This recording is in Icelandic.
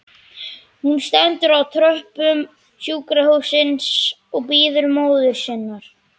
Hún stendur á tröppum sjúkrahússins og bíður móður sinnar.